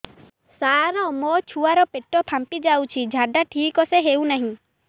ସାର ମୋ ଛୁଆ ର ପେଟ ଫାମ୍ପି ଯାଉଛି ଝାଡା ଠିକ ସେ ହେଉନାହିଁ